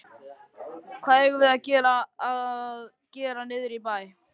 Hvað eigum við að gera niðri í bæ?